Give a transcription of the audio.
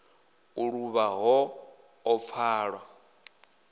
u luvha ho ḓo pfala